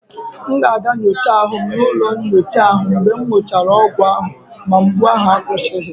M ga-aga nyocha ahụ m n'ụlọ nyocha mgbe m gụchara ọgwụ ahụ ma mgbu ahụ akwụsịghị.